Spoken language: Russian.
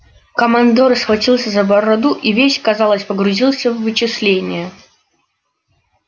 командор схватился за бороду и весь казалось погрузился в вычисления